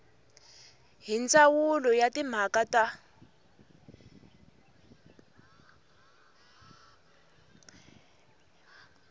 hi ndzawulo ya timhaka ta